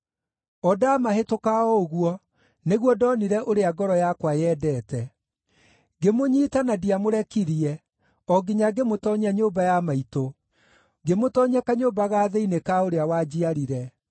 O ndamahĩtũka o ũguo, nĩguo ndonire ũrĩa ngoro yakwa yendete. Ngĩmũnyiita na ndiamũrekirie, o nginya ngĩmũtoonyia nyũmba ya maitũ, ngĩmũtoonyia kanyũmba ga thĩinĩ ka ũrĩa wanjiarire.